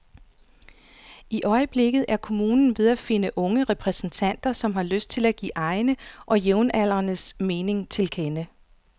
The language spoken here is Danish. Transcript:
I øjeblikket er kommunen ved at finde unge repræsentanter, som har lyst til at give egne og jævnaldrendes mening til kende.